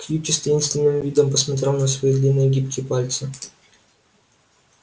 кьюти с таинственным видом посмотрел на свои длинные гибкие пальцы